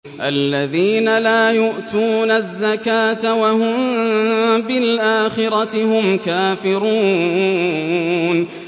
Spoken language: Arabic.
الَّذِينَ لَا يُؤْتُونَ الزَّكَاةَ وَهُم بِالْآخِرَةِ هُمْ كَافِرُونَ